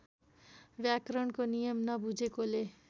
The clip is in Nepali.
व्याकरणको नियम नबुझेकोले